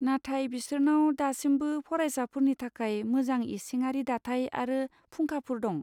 नाथाय बिसोरनाव दासिमबो फरायसाफोरनि थाखाय मोजां इसिङारि दाथाय आरो फुंखाफोर दं।